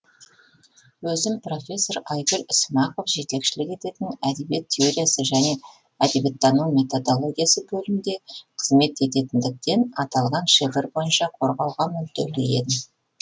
өзім профессор айгүл ісімақова жетекшілік ететін әдебиет теориясы және әдебиеттану методологиясы бөлімде қызмет ететіндіктен аталған шифр бойынша қорғауға мүдделі едім